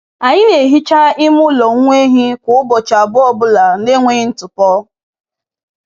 Anyị na-ehichaa ime ụlọ nwa ehi kwa ụbọchị abụọ ọ bụla na-enweghị ntụpọ.